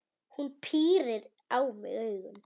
Hún pírir á mig augun.